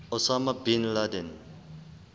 osama bin laden